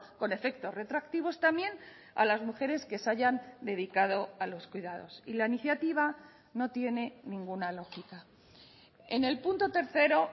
con efectos retroactivos también a las mujeres que se hayan dedicado a los cuidados y la iniciativa no tiene ninguna lógica en el punto tercero